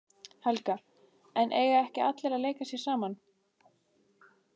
Helga: En eiga ekki allir að leika sér saman?